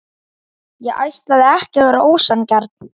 Ég ætlaði ekki að vera ósanngjarn.